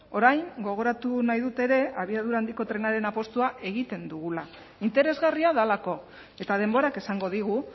orain gogoratu nahi dut ere abiadura handiko trenaren apustua egiten dugula interesgarria delako eta denborak esango digu